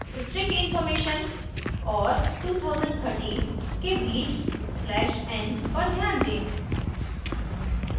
string information और 2013 के बीच slash n पर ध्यान दें